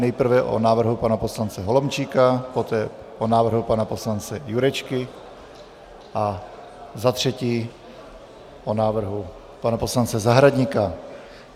Nejprve o návrhu pana poslance Holomčíka, poté o návrhu pana poslance Jurečky a za třetí o návrhu pana poslance Zahradníka.